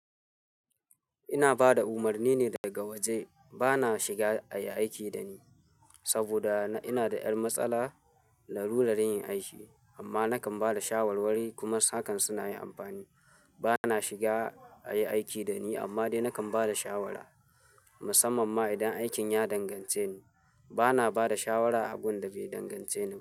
Ina ba da umarni ne daga waje. Ba na shiga a yi aiki da ni saboda ina da ƴar matsala na rura yin aiki amma nakan ba da shawarwari kuma hakan suna yin amfani. Ba na shiga a yi aiki da ni amma dai nakan ba da shawara, musamman ma idan aikin ya dangance ni. Ba na ba da shawara a gun da bai dangance ni ba.